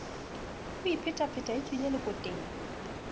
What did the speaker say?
a iphetapheta e tswile lekoteng